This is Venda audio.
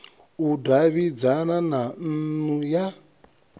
u davhidzana na nnu ya